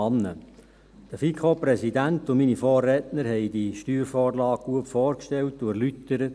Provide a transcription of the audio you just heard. Der FiKo-Präsident und meine Vorredner haben diese Steuervorlage gut vorgestellt und erläutert.